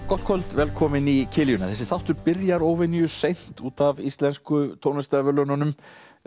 gott kvöld velkomin í þessi þáttur byrjar óvenju seint út af Íslensku tónlistarverðlaununum